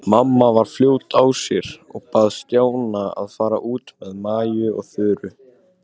Mamma var fljót á sér og bað Stjána að fara út með Maju og Þuru.